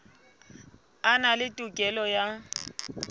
a na le tokelo ya